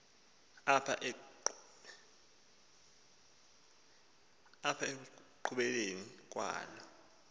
apha ekupheleni kwalo